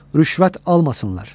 Rüşvət almasınlar.